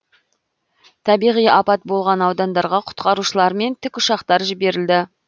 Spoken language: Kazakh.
табиғи апат болған аудандарға құтқарушылар мен тікұшақтар жіберілді